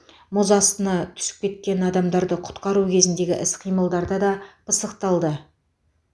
мұз астына түсіп кеткен адамдарды құтқару кезіндегі іс қимылдарда да пысықталды